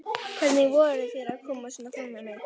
Hvernig vogarðu þér að koma svona fram við mig!